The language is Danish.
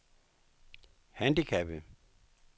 handicappede